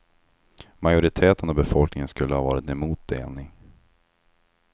Majoriteten av befolkningen skulle ha varit emot delning.